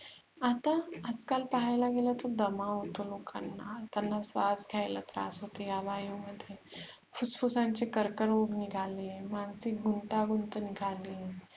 आता आजकाल पाहायला गेल तर दमा होतो लोकांना त्यांना श्र्वास घेतला त्रास होतो या वायु मध्ये फुफुसांचे कर्करोग निघाले मानसिक गुंतागुंत निघाली